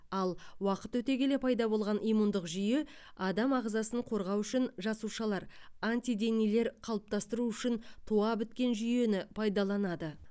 ал уақыт өте келе пайда болған иммундық жүйе адам ағзасын қорғау үшін жасушалар антиденелер қалыптастыру үшін туа біткен жүйені пайдаланады